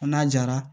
N'a jara